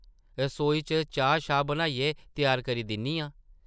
रसोई च चाह्-शाह् बनाइयै त्यार करी दिन्नी आं ।